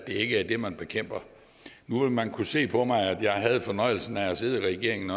ikke er det man bekæmper nu vil man kunne se på mig at jeg havde fornøjelsen af at sidde i regeringen